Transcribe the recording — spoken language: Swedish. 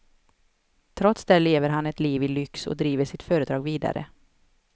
Trots det lever han ett liv i lyx och driver sitt företag vidare.